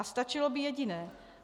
A stačilo by jediné.